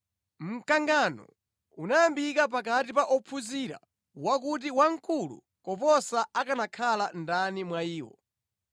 Mkangano unayambika pakati pa ophunzira wa kuti wamkulu koposa akanakhala ndani mwa iwo.